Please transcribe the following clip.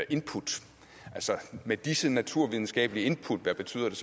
input altså af hvad disse naturvidenskabelige input betyder